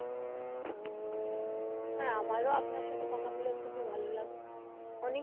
হ্যা আমার ও আপনার সাথে কথা বলে খুবই ভালো লাগলো অনেক কিছু জানা গেলো. অনেক